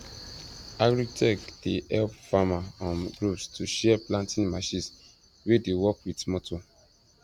agritech dey help farmer um groups to share planting machines wey dey work with motor